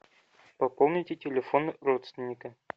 пополните телефон родственника